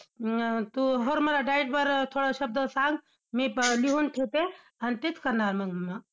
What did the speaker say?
मग तू~ बरं मला diet बरं थोडं शब्द सांग, मी लिहून ठेवते आणि तेच करणार मग मी!